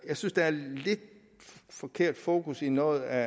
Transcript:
jeg synes der er et lidt forkert fokus i noget af